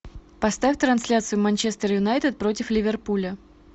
поставь трансляцию манчестер юнайтед против ливерпуля